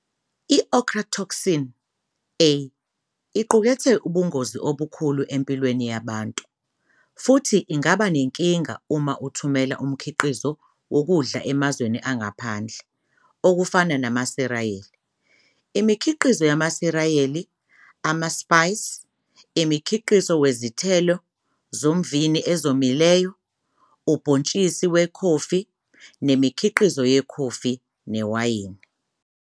I-Ochratoxin A iqukethe ibungozi obukhulu empilweni yabantu futhi ingaba nenkinga uma uthumela umkhiqizo wokudla emazweni angaphandle okufana namsiriyali, imikhiqizo yamasiriyali, ama-spice, imikhiqizo wezithelo zomvini ezomile, ubhontshisi wekhofi nemikhiqizo yekhofi, newayini.